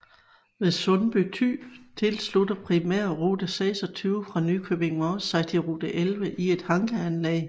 Ved Sundby Thy tilslutter primærrute 26 fra Nykøbing Mors sig rute 11 i et hankeanlæg